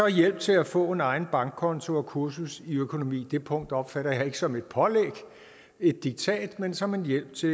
hjælp til at få en egen bankkonto og et kursus i økonomi det punkt opfatter jeg ikke som et pålæg et diktat men som en hjælp til